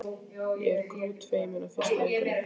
Ég var grútfeimin á fyrstu æfingunni.